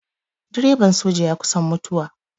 Direban soja ya kusan mutuwa.